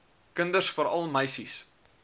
kinders veral meisies